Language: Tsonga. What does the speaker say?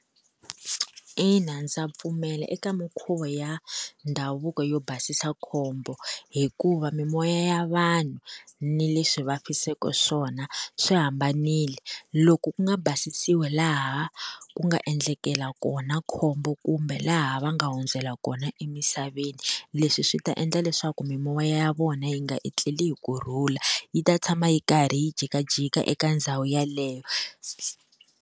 Ina ndza pfumela eka minkhuvo ya ndhavuko yo basisa khombo hikuva mimoya ya vanhu ni le swi va fiseke swona swi hambanile loko ku nga basisiwi laha ku nga endlekela kona khombo kumbe laha va nga hundzela kona emisaveni leswi swi ta endla leswaku mimoya ya vona yi nga etleli hi kurhula yi ta tshama yi karhi yi jikajika eka ndhawu yeleyo.